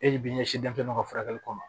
E de bi ɲɛsin denmisɛnninw ka furakɛli kɔ ma